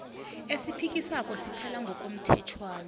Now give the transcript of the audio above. esiphikiswako siphela ngokomthetjhwana